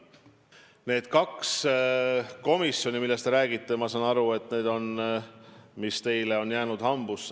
Need kaks komisjoni, millest te räägite – ma saan aru, et need on teile hambusse jäänud.